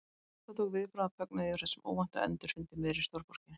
Hjartað tók viðbragð af fögnuði yfir þessum óvænta endurfundi í miðri stórborginni.